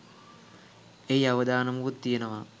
එහි අවදානමකුත් තියෙනවා.